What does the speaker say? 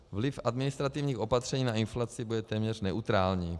Vliv administrativních opatření na inflaci bude téměř neutrální.